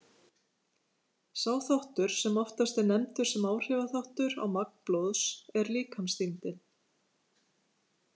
Sá þáttur sem oftast er nefndur sem áhrifaþáttur á magn blóðs er líkamsþyngdin.